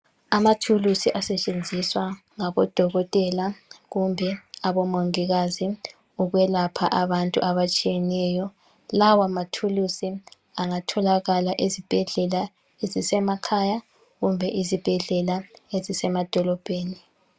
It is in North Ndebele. Amathulusi asetshenziswa ngabodokotela kumbe abongikazi ukwelapha abantu abatshiyeneyo lawamathulusi angatholakala ezibhedlela ezisemalhaya kumbe izibhedlela ezisemadolobheni.